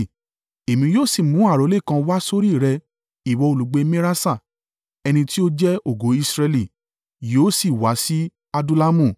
Èmi yóò sì mú àrólé kan wá sórí rẹ ìwọ olùgbé Meraṣa. Ẹni tí ó jẹ́ ògo Israẹli yóò sì wá sí Adullamu.